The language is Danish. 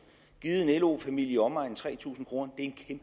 givet en lo familie i omegnen af tre tusind kroner